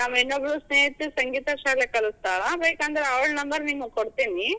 ನಮ್ ಇನ್ನೊಬ್ಳ ಸ್ನೇಹಿತೆ ಸಂಗೀತ ಶಾಲೆ ಕಲಿಸ್ತಾಳ, ಬೇಕಂದ್ರ ಅವಳ ನಂಬರ್ ನಿಮ್ಗ್ ಕೊಡ್ತೇನಿ.